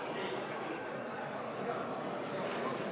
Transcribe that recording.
Palun võtta seisukoht ja hääletada!